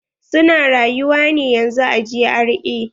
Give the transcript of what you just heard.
Su na rayuwa ne yanzun a GRA.